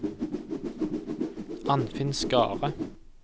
Anfinn Skare